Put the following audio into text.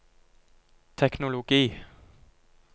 teknologi